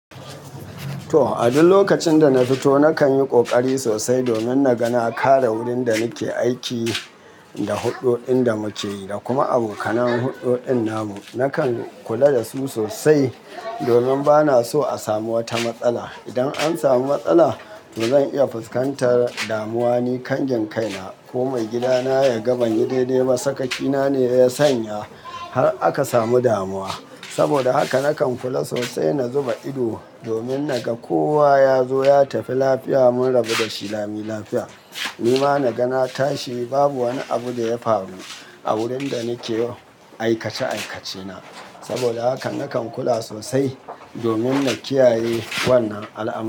To, a duk lokacin da na fito, nakan yi ƙoƙari sosai domin na ga na kare wurin da ni ke aiki da huɗuɗin da muke yi da kuma abokanan huɗuɗin namu. Nakan kula da su sosai domin bana so a samu wata matsala. Idan an samu matsala, to zan iya fuskantar damuwa ni kangin kaina ko mai gidana ya ga banyi daidai ba. Sakakina ne ya sanya har aka samu damuwa. Saboda haka nakan kula sosai na zuba ido domin na ga kowa ya zo ya tafi lafiya mun rabu da shi lami lafiya. Ni ma na ga na tashi babu wani abu da ya faru a wurin da ni ke aikace aikacena. Saboda haka nakan kula sosai domin na kiyaye wannan al'amura.